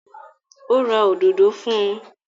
Ó ra òdodo fún un?